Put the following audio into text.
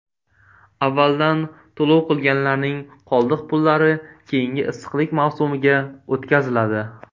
Avvaldan to‘lov qilganlarning qoldiq pullari keyingi issiqlik mavsumiga o‘tkaziladi.